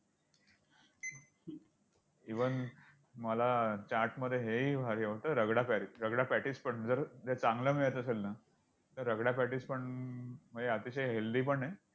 Even मला चाट मध्ये हेही भारी आवडतं, रागडापॅटिस! रगडा patties पण जर~जर चांगलं मिळत असेल ना तर रगडा patties पण म्हणजे अतिशय healthy पण आहे.